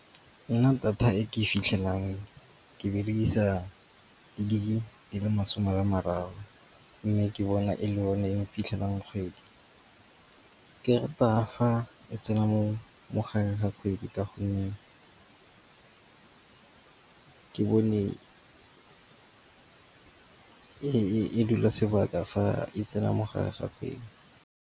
Nna data e ke fitlhelang ke berekisa dilo di-gig di le masome a mararo. Mme ke bona e le one e fitlhelang kgwedi. Ke rata ga e tsena mogareng ga kgwedi ka gonne ke bone ka e dula sebaka fa e tsena mo gare ga kgwedi.